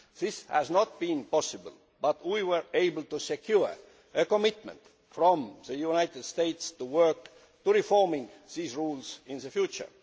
This has not been possible, but we were able to secure a commitment from the United States to work towards reforming these rules in the future.